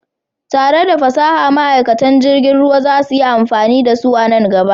Tare da fasaha, ma'aikatan jirgin ruwa za su yi amfani da su a nan gaba.